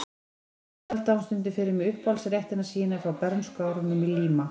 Og svo eldaði hún stundum fyrir mig uppáhaldsréttina sína frá bernskuárunum í Líma